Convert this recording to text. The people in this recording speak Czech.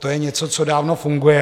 To je něco, co dávno funguje.